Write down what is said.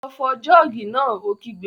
Lọ fọ jọ́ọ̀gì náà! Ó kígbe